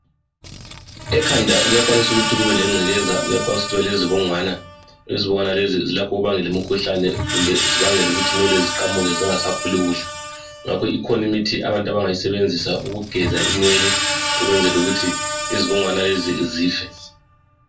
Ekhanda kuyakwanisa ukuthi kube lengcekeza kuyakwanisa ukuthi kube lezibungwana zibangela umkhuhlane kumbe zibangela ukuthi nwele ziqamuke zingasakhuli kuhle. Ngakho ikhona imithi abantu abangayi sebenzisa ukugeza inwele ukwenzela ukuthi izibungwana lezi zife.